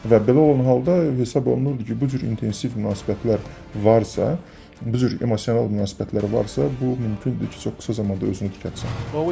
Və belə olan halda hesab olunur ki, bu cür intensiv münasibətlər varsa, bu cür emosional münasibətlər varsa, bu mümkün deyil ki, çox qısa zamanda özünü tikətsin.